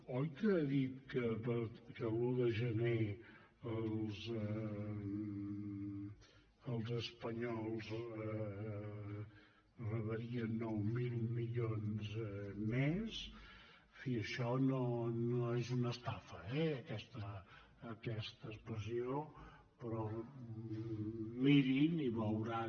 oi que ha dit que l’un de gener els espanyols rebrien nou mil milions més en fi això no és una estafa eh aquesta expressió però mirin i veuran